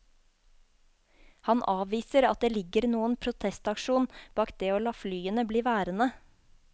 Han avviser at det ligger noen protestaksjon bak det å la flyene bli værende.